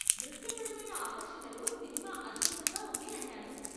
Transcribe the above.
దృశ్యపరమైన ఆకర్షణలో సినిమా అద్భుతంగా ఉంది అంటాను.